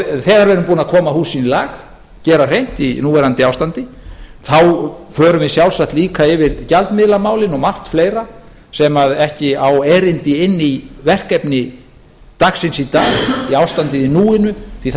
þegar við erum búin að koma húsinu í lag gera hreint í núverandi ástandi förum við sjálfsagt líka yfir gjaldmiðlamálin og margt fleira sem ekki á erindi inn í verkefni dagsins í dag í ástandið í núinu því